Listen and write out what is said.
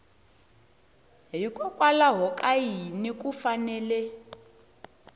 hikokwalaho ka yini ku fanele